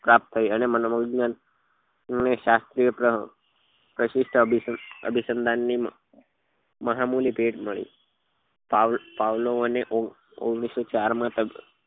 પ્રાપ્ત થઇ અને મનો વિજ્ઞાન પ્રશિષ્ઠ અભી અભિસંધાન ની મહામુલી ભેટ મળી પવલાઓ ની ઓગણીસો ચાર માં